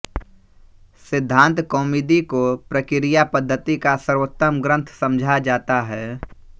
सिद्धान्तकौमुदी को प्रक्रियापद्धति का सर्वोत्तम ग्रन्थ समझा जाता है